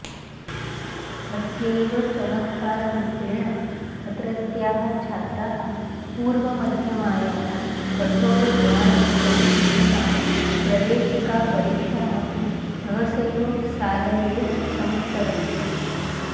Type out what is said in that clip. अस्यैव चमत्काररूपेण अत्रत्याः छात्राः पूर्वमध्यमायाः कठाेरद्वाररूपेण स्थितां प्रवेशिकापरीक्षामपि सहसैव सारल्येन समुत्तरन्ति